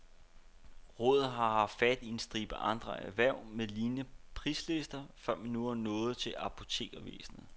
Rådet har haft fat i en stribe andre erhverv med lignende prislister, før man nu et nået til apotekervæsenet.